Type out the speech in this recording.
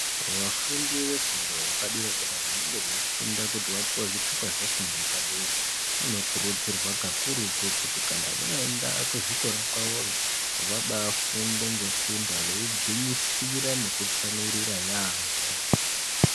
Vafundi vefundo yepadera-dera, vanenge veifunda kuti vapuwe zvithupa zvefundo yepadera, vanokurudzirwa kakurutu kuti kana vaenda kuzvikora kwavoyo, vabaafunde ngesimba veigwinyisira nekutsamwirira yaamho.